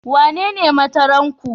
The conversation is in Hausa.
Wanene Matron naku?